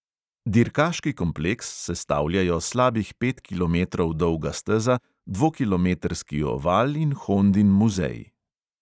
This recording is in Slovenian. Dirkaški kompleks sestavljajo slabih pet kilometrov dolga steza, dvokilometrski oval in hondin muzej.